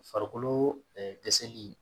Farikolo ɛɛ dɛsɛli